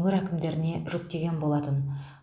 өңір әкімдеріне жүктеген болатын